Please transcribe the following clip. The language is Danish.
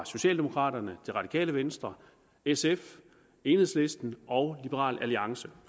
socialdemokraterne det radikale venstre sf enhedslisten og liberal alliance